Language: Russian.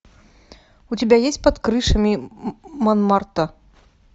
у тебя есть под крышами монмартра